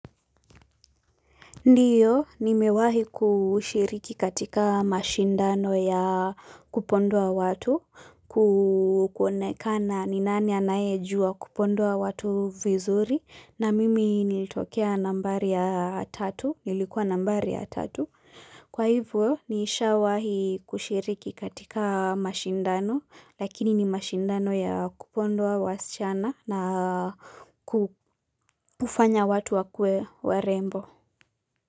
Ndiyo, nimewahi kushiriki katika mashindano ya kupondoa watu, kuonekana ni nani anaye jua kupondoa watu vizuri, na mimi nilitokea nambari ya tatu, nilikuwa nambari ya tatu. Kwa hivyo, nisha wahi kushiriki katika mashindano, lakini ni mashindano ya kupondoa wasichana na kufanya watu wakue warembo.